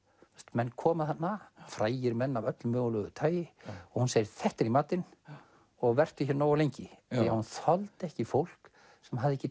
menn koma þarna frægir menn af öllu mögulegu tagi og hún segir þetta er í matinn og vertu nógu lengi því hún þoldi ekki fólk sem hafði ekki